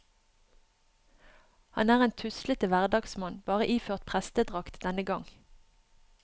Han er en tuslete hverdagsmann, bare iført prestedrakt denne gang.